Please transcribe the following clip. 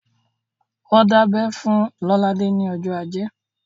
Wọ́n dábẹ́ fún Lolade ní ọjọ́ ajé